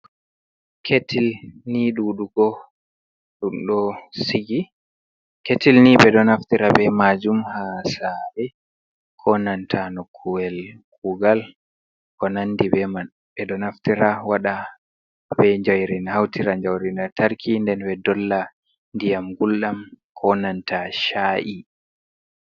Ketil ni ɓe ɗo naftira ɓe majum ha sare ko nanta no kuwel kugal bo nandi beman, ɓe ɗo naftira waɗa ɓe jayrin hautira jairi lantarki nden be dolla diyam guldam ko nanta cha’i.